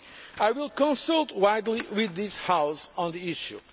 I will consult widely with this House on the issue.